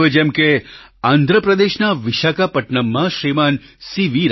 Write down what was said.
હવે જેમ કે આંધ્રપ્રદેશના વિશાખાપટ્ટનમમાં શ્રીમાન સી